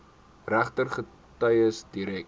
regter getuies direk